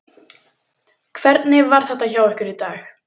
Hvernig var þetta hjá ykkur í dag?